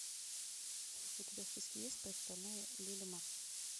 у тебя в списке есть представляя лили марс